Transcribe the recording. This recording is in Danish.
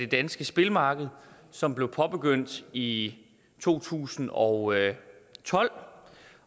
danske spilmarked som blev påbegyndt i to tusind og tolv